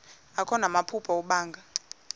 akho namaphupha abanga